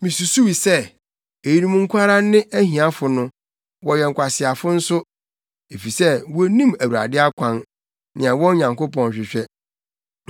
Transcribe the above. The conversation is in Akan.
Misusuw se, “Eyinom nko ara ne ahiafo no; wɔyɛ nkwaseafo nso, efisɛ wonnim Awurade akwan, nea wɔn Nyankopɔn hwehwɛ.